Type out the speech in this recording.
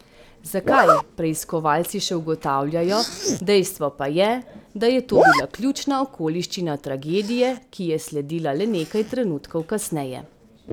Zakaj, preiskovalci še ugotavljajo, dejstvo pa je, da je to bila ključna okoliščina tragedije, ki je sledila le nekaj trenutkov kasneje.